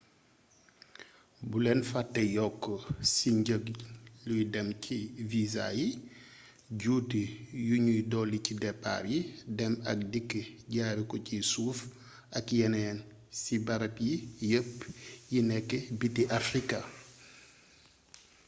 bulen fate yokk si njëg luy dem ci visa yi juuti yuñuy dolli ci depaar yi dem ak dikk jaare ko ci suuf ak yeneen si barab yii yépp yi nek biti africa